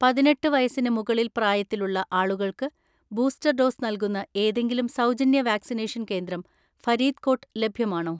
പതിനെട്ട് വയസ്സിന് മുകളിൽ പ്രായത്തിലുള്ള ആളുകൾക്ക്, ബൂസ്റ്റർ ഡോസ് നൽകുന്ന ഏതെങ്കിലും സൗജന്യ വാക്‌സിനേഷൻ കേന്ദ്രം ഫരീദ്കോട്ട് ലഭ്യമാണോ?